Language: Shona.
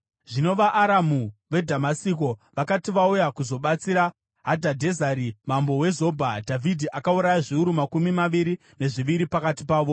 Zvino vaAramu veDhamasiko vakati vauya kuzobatsira Hadhadhezeri mambo weZobha, Dhavhidhi akauraya zviuru makumi maviri nezviviri pakati pavo.